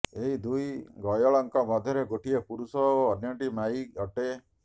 ଏହି ଦୁଇ ଗୟଳଙ୍କ ମଧ୍ୟରେ ଗୋଟିଏ ପୁରୁଷ ଓ ଅନ୍ୟଟି ମାଈ ଅଟେ